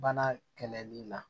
Bana kɛlɛli la